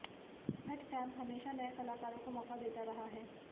Bhatt camp हमेशा नए कलाकारों को मौका देता रहा है